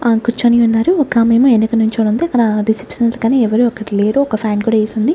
ఆమ కూర్చొని ఉన్నారు ఒకామె ఏమో వెనుక నుంచొని ఉంది అక్కడ కానీ ఎవరు అక్కడ లేరు ఒక ఫ్యాన్ కూడా వేసి ఉంది.